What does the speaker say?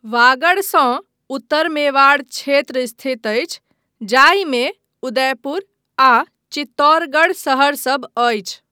वागडसँ उत्तर मेवाड़ क्षेत्र स्थित अछि, जाहिमे उदयपुर आ चित्तौरगढ़ शहरसभ अछि।